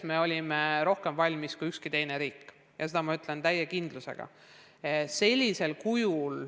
Me olime selleks rohkem valmis kui ükski teine riik ja seda ma ütlen täie kindlusega.